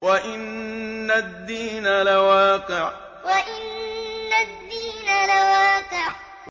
وَإِنَّ الدِّينَ لَوَاقِعٌ وَإِنَّ الدِّينَ لَوَاقِعٌ